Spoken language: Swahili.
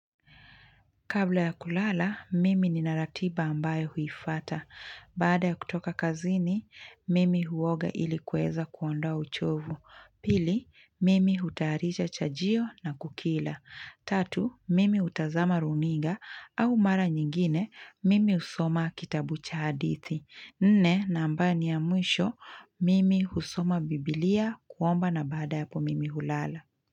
Kabla ya kulala, mimi nina ratiba ambayo huifata. Baada ya kutoka kazini, mimi huoga ili kuweza kuondowa uchovu. Pili, mimi hutayarisha chajio na kukila. Tatu, mimi hutazama runiga au mara nyingine, mimi husoma kitabu cha hadithi. Nne, na ambayo ni ya mwisho, mimi husoma biblia, kuomba na baada ya hapo mimi hulala.